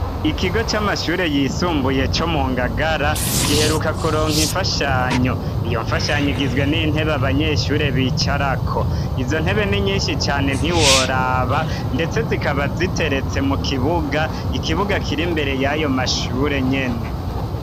Ikigo c'amashure yisumbuye co mu Ngagara giheruka kuronka imfashanyo. Iyo mfashanyo igizwe n'intebe abanyeshure bicarako. Izo ntebe ni nyishi cane ntiworaba, ndetse zikaba ziteretse mu kibuga, ikibuga kiri imbere yayo mashure nyene.